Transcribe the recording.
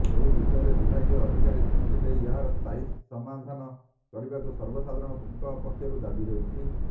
ଏବିଷୟରେ ବିଭାଗୀୟ ଅଧିକାରୀ ଦୃଷ୍ଟି ଦେଇ ଏହାର ସ୍ଥାୟୀ ସମାଧାନ କରିବାକୁ ସର୍ବସାଧାରଣ ଙ୍କ ପକ୍ଷରୁ ଦାବି ହେଉଛି